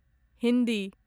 Hindi